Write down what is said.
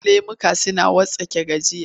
Wasu lemukan suna wartsake gajiya.